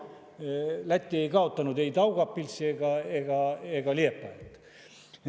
Aga Läti ei kaotanud ei Daugavpilsi ega Liepājat.